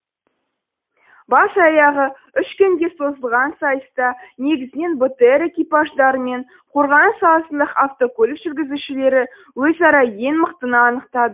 бас аяғы үш күнге созылған сайыста негізінен бтр экипаждары мен қорғаныс саласындағы автокөлік жүргізушілері өзара ең мықтыны